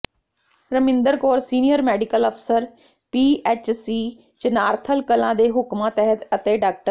Raminder Kaur senior medical ਅਫ਼ਸਰ PHC Chanarthal Kalan ਦੇ ਹੁਕਮਾਂ ਤਹਿਤ ਅਤੇ ਡਾ